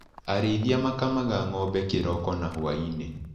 Arĩithia makamaga ngombe kĩroko na hwainĩ.